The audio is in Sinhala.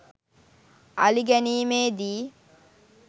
අලි ගැනීමේ දී